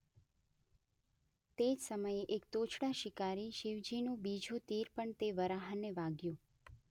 તે જ સમયે એક તોછડા શિકારી શિવજીનુ બીજું તીર પણ તે વરાહને વાગ્યું.